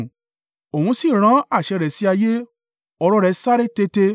Òun sì rán àṣẹ rẹ̀ sí ayé ọ̀rọ̀ rẹ̀ sáré tete.